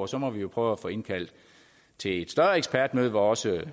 og så må vi jo prøve at få indkaldt til et større ekspertmøde hvor også